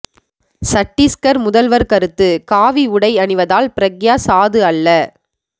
சட்டீஸ்கர் முதல்வர் கருத்து காவி உடை அணிவதால் பிரக்யா சாது அல்ல